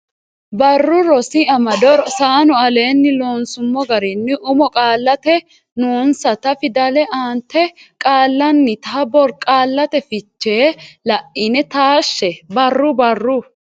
Barru Rosi Amado Rosano aleenni loonsummo garinni umo qaallate noonsata fidalete aante Qaallannita borqaallate fiche la ine taashshe Barru Barru.